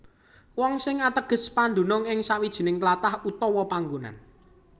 Wong sing ateges padunung ing sawijining tlatah utawa panggonan